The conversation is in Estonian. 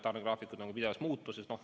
Tarnegraafikud muutuvad pidevalt.